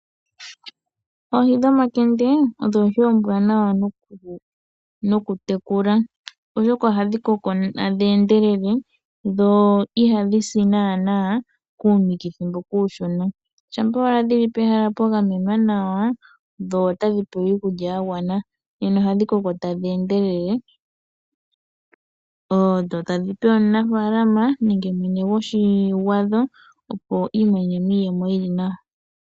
Oohi dhoMakende odho Oohi ombwaanawa noku tekula, oshoka ohadhi koko tadhi endelele dho ihadhi si naana kuunikithi mboka uushona . Shampa owala dhili pehala pwa gamenwa nawa dho tadhi pewa iikulya ya gwana nena ohadhi koko tadhi endelele. Dho tadhi pe omunafaalama nenge mwene gwadho opo iimonene iiyemo yili nawa.